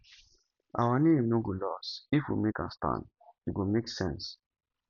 our name no go lost if we make am stand e go make sense